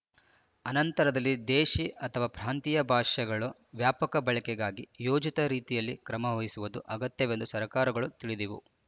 ಅನಂತರದಲ್ಲಿ ದೇಶೀ ಅಥವಾ ಪ್ರಾಂತೀಯ ಭಾಷೆಗಳ ವ್ಯಾಪಕ ಬಳಕೆಗಾಗಿ ಯೋಜಿತ ರೀತಿಯಲ್ಲಿ ಕ್ರಮವಹಿಸುವುದು ಅಗತ್ಯವೆಂದು ಸರಕಾರಗಳು ತಿಳಿದವು